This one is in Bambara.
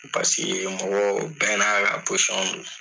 Paseke mɔgɔw bɛɛ n'a don.